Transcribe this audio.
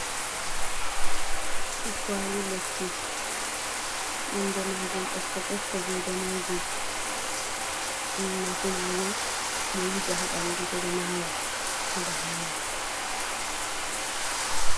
Kwali lekki, nonde majum ɓokko ɓokko be danejum, nafu majum ɓe wuja ha ɓandu heɓa hoina.